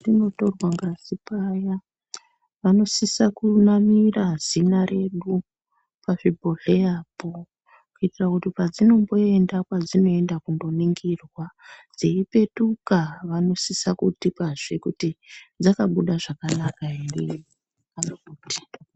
Patinotorwa ngazi paya vanosisa kunamira zina redu pazvibhohleya po kuitire kuti padzinomboenda kwadzinoenda kunoningirwa dzeipetuka vanosisa kutipa zvekuti dzakabuda zvakanaka here.